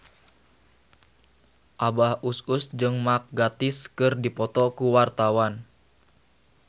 Abah Us Us jeung Mark Gatiss keur dipoto ku wartawan